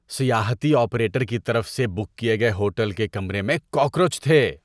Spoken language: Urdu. سیاحتی آپریٹر کی طرف سے بک کیے گئے ہوٹل کے کمرے میں کاکروچ تھے۔